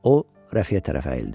O Rəfiyə tərəf əyildi.